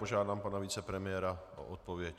Požádám pana vicepremiéra o odpověď.